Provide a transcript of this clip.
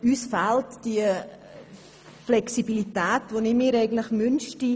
Uns fehlt die Flexibilität, die ich mir wünschte.